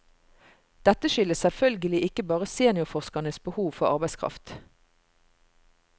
Dette skyldes selvfølgelig ikke bare seniorforskernes behov for arbeidskraft.